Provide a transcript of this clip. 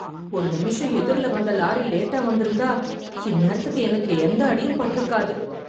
ஒரு நிமிஷம் எதிர்ல வந்த லாரி லேட்டா வந்திருந்தா, இந்நேரத்துக்கு, எனக்கு எந்த அடியும் பட்டு இருக்காது.